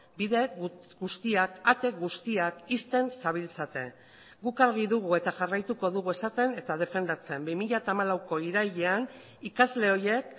bide guztiak ate guztiak ixten zabiltzate guk argi dugu eta jarraituko dugu esaten eta defendatzen bi mila hamalauko irailean ikasle horiek